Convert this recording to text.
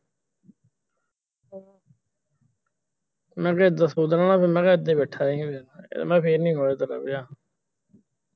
ਮੈਂ ਕਿਹਾ ਇਦਾਂ ਸੋਚਣ ਵਾਲਾ ਫਿਰ ਮੈਂ ਕਿਹਾ ਇਦਾਂ ਈ ਬੈਠਾ ਈ ਮੈਂ ਫਿਰ ਨੀ